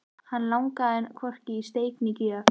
Hann langaði hvorki í steik né gjöf.